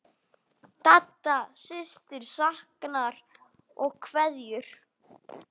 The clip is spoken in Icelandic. Dadda systir saknar og kveður.